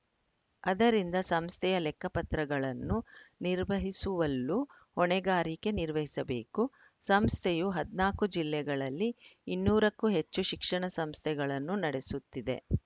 ಆದರಿಂದ ಸಂಸ್ಥೆಯ ಲೆಕ್ಕಪತ್ರಗಳನ್ನು ನಿರ್ವಹಿಸುವಲ್ಲೂ ಹೊಣೆಗಾರಿಕೆ ನಿರ್ವಹಿಸಬೇಕು ಸಂಸ್ಥೆಯು ಹದಿನಾಲ್ಕು ಜಿಲ್ಲೆಗಳಲ್ಲಿ ಇನ್ನೂರಕ್ಕೂ ಹೆಚ್ಚು ಶಿಕ್ಷಣ ಸಂಸ್ಥೆಗಳನ್ನು ನಡೆಸುತ್ತಿದೆ